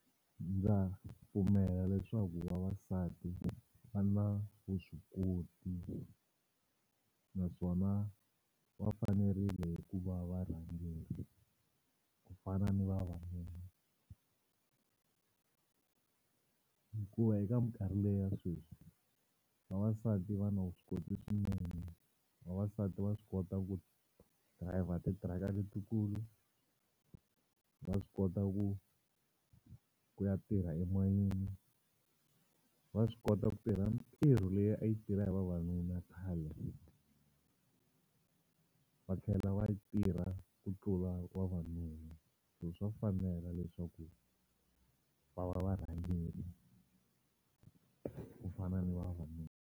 Ndza pfumela leswaku vavasati va na vuswikoti naswona va fanerile ku va varhangeri ku fana ni vavanuna hikuva eka minkarhi leya sweswi vavasati va na vuswikoti swinene vavasati va swi kota ku driver titiraka letikulu ta swi kota ku ku ya tirha emayini va swi kota ku tirha mintirho leyi a yi tirha hi vavanuna khale va tlhela va yi tirha ku tlula vavanuna so swa fanela leswaku va va varhangeri ku fana ni vavanuna.